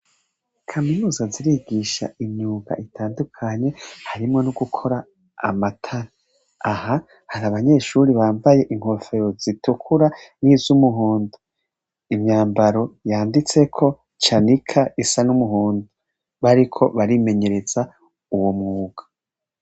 Kaminuza zirigisha imyuga itandukanye, harimwo nogukora amatara, aha hari abanyeshuri bambaye inkofero zitukura n' izumuhondo, imyambaro yanditseko cyanika isa n'umuhondo bariko barimenyereza uwo mwuga.